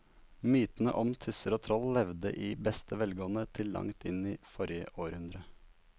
Mytene om tusser og troll levde i beste velgående til langt inn i forrige århundre.